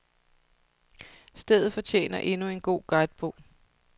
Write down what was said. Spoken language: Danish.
Stedet fortjener endnu en god guidebog.